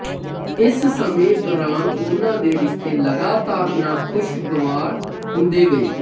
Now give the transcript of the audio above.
ਇਸ ਸਮੇਂ ਦੌਰਾਨ ਉਨ੍ਹਾਂ ਦੇ ਰਿਸ਼ਤੇ ਲਗਾਤਾਰ ਨਾਖ਼ੁਸ਼ਗਵਾਰ ਹੁੰਦੇ ਗਏ